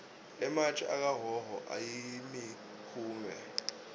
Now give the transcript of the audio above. ematje akahhohho ayimihume